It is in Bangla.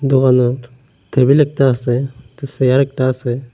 দোকানত টেবিল একটা আসে তে চেয়ার একটা আসে।